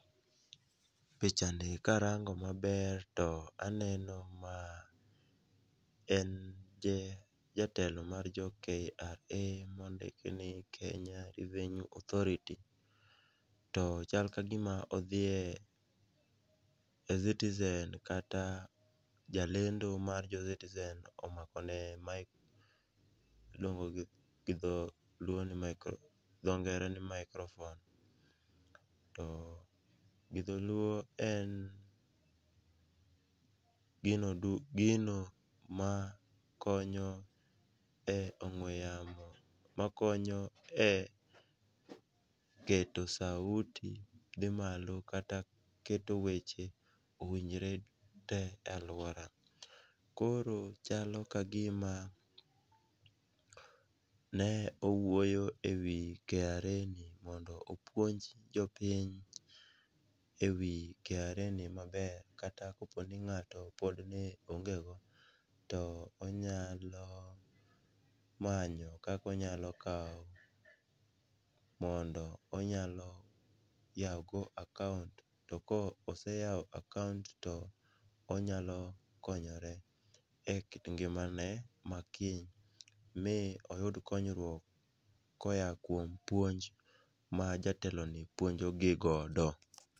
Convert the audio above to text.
Pichani karango maber to aneno ma en jatelo mar jo KRA mondik ni Kenya Revenue Authority, to chal ka gima odhiye citizen kata jalendo mar jo citizen omakone iluongoni gi dhongere ni microphone to gi dholuo en gino ma konyo e ong'we yamo, makonyo e keto [ca]sauti dhi malo kata keto weche owinjre te e alwora. Koro chalo ka gima ne owuoyo e wi KRA mondo opuonj jopiny e wi KRA ni maber kata koponi ng'ato ne ongego ,to onyalo manyo kaka onyalo kawo mondo onyalo yawogo akaont, to koseyawo akaont to onyalo konyore e kit ngimane ma kiny, mi oyud konyruok koya kuom puonj ma jateloni puonjogi godo.